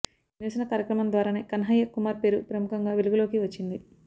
ఈ నిరసన కార్యక్రమం ద్వారానే కన్హయ్య కుమార్ పేరు ప్రముఖంగా వెలుగులోకి వచ్చింది